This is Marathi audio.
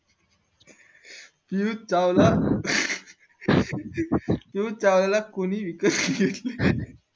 युझी चावला युझी चावला ला कोणी विकत घेतले